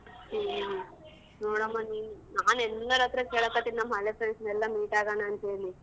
ಹ್ಮ್ ನೋಡಮ್ಮ ನೀನು ನಾನ್ ಎಲ್ಲರ್ ಹತ್ರ ಕೇಳಕ್ ಹತ್ತಿನಿ ನಮ್ ಹಳೆ friends ನೆಲ್ಲ meet ಆಗಣ ಅಂತ್ ಹೇಳಿ.